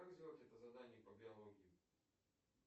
как сделать это задание по биологии